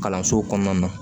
Kalanso kɔnɔna na